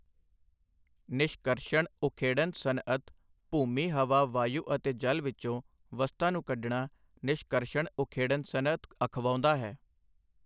ਨਿਸ਼ਕਰਸ਼ਣ ਉਖੇੜਣ ਸਨਅਤ ਭੂਮੀ ਹਵਾ ਵਾਯੂ ਅਤੇ ਜਲ ਵਿੱਚੋਂ ਵਸਤਾਂ ਨੂੰ ਕੱਢਣਾ ਨਿਸ਼ਕਰਸ਼ਣ ਉਖੇੜਣ ਸਨਅਤ ਅਖਵਾਉਂਦਾ ਹੈ।